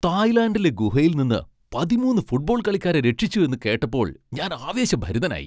തായ്ലാൻഡിലെ ഗുഹയിൽ നിന്ന് പതിമൂന്ന് ഫുട്ബോൾ കളിക്കാരെ രക്ഷിച്ചു എന്ന് കേട്ടപ്പോൾ ഞാൻ ആവേശഭരിതനായി.